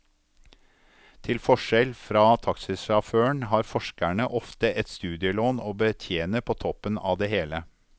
Til forskjell fra taxisjåføren har forskerne ofte et studielån å betjene på toppen av det hele.